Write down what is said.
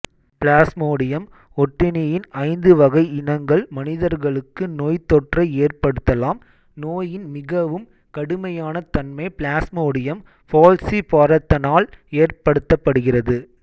plasmodium ஒட்டுண்ணியின் ஐந்து வகை இனங்கள் மனிதர்களுக்கு நோய்த்தொற்றை ஏற்படுத்தலாம் நோயின் மிகவும் கடுமையான தன்மை பிளாஸ்மோடியம் ஃபால்ஸிபாரத்தனால் ஏற்படுத்தப்படுகிறது